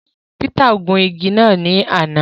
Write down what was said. Peter gun ìgi náà ní àna